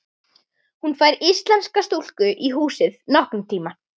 Hún fær íslenska stúlku í húsið nokkurn tíma.